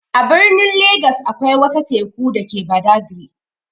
A birnin Legas akwai wata Teku dake Badagri.